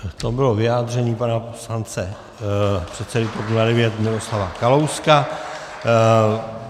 To bylo vyjádření pana poslance předsedy TOP 09 Miroslava Kalouska.